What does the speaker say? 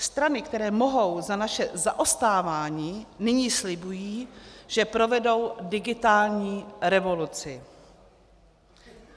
Strany, které mohou za naše zaostávání, nyní slibují, že provedou digitální revoluci.